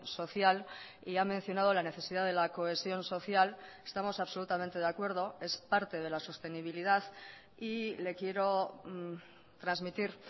social y ha mencionado la necesidad de la cohesión social estamos absolutamente de acuerdo es parte de la sostenibilidad y le quiero transmitir